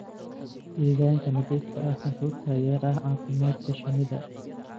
Deegaanka nadiifka ah wuxuu taageeraa caafimaadka shinnida.